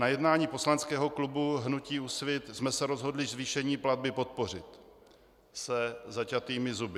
Na jednání poslaneckého klubu hnutí Úsvit jsme se rozhodli zvýšení platby podpořit - se zaťatými zuby.